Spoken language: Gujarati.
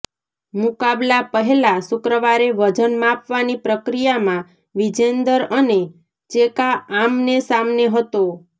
મુકાબલા પહેલા શુક્રવારે વજન માપવાની પ્રક્રિયામાં વિજેન્દર અને ચેકા આમનેસામને હતો